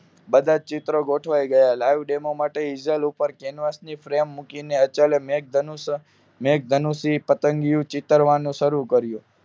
બધા ચિત્રો ગોઠવાઈ ગયા લાઈવ ડેમો માટે હીઝલ ઉપર કેનવાસ ની ફ્રેમ મૂકીને અચલે મેઘધનુષ્ય મેઘધનુષ્ય પતંગિયું ચીતરવા નું શરુ કર્યું